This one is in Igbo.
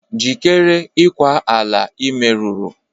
Jikere ikwa ala i meruru!